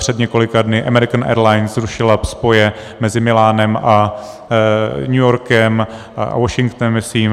Před několika dny American Airlines zrušila spoje mezi Milánem a New Yorkem a Washingtonem, myslím.